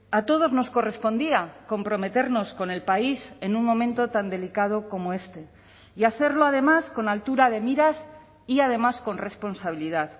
a todos nos correspondía comprometernos con el país en un momento tan delicado como este y hacerlo además con altura de miras y además con responsabilidad